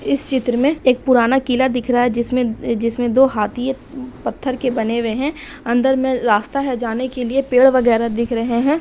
इस चित्र में एक पुराना किला दिख रहा है जिसमे-जिसमे दो हाथी है पत्थर के बने हुए है अंदर मे रास्ता है जाने के लिए पेड़ वगैरा दिख रही है।